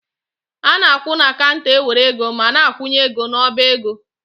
A na-akwụ na kanter e were ego ma na-akwunye ego n'ọba ego.